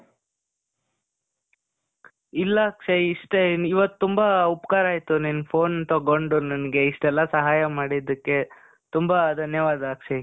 ಇಲ್ಲ ಅಕ್ಷಯ್, ಇಷ್ಟೆ. ಇವತ್ ತುಂಬಾ ಉಪಕಾರ ಆಯ್ತು. ನೀನ್ phone ತಗೊಂಡು ನನ್ಗೆ ಇಷ್ಟೆಲ್ಲ ಸಹಾಯ ಮಾಡಿದ್ದಕ್ಕೆ. ತುಂಬಾ ಧನ್ಯವಾದ ಅಕ್ಷಯ್.